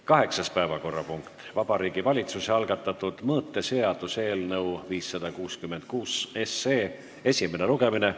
Kaheksas päevakorrapunkt: Vabariigi Valitsuse algatatud mõõteseaduse eelnõu 566 esimene lugemine.